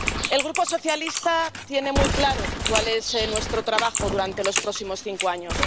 El Grupo socialista tiene muy claro cuál es nuestro trabajo durante los próximos cinco años.